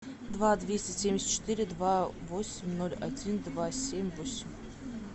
два двести семьдесят четыре два восемь ноль один два семь восемь